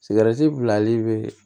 Sigɛriti bilali bɛ